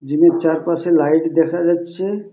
Gym এর চারপাশে light দেখা যাচ্ছে-এ।